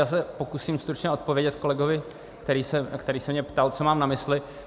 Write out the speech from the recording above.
Já se pokusím stručně odpovědět kolegovi, který se mě ptal, co mám na mysli.